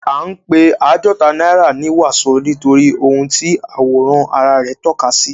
A ń pé àádọta náírà ní wàsó nítorí ohun tí àwòrán ara rẹ̀ tọ́ka sí.